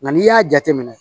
Nka n'i y'a jateminɛ